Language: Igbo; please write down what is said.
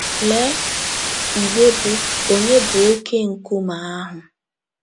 Lee igbe bụ́ “ Ònye Bụ Oké Nkume Ahụ? ”